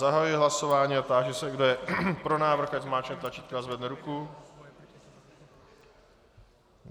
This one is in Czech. Zahajuji hlasování a táži se, kdo je pro návrh, ať zmáčkne tlačítko a zvedne ruku.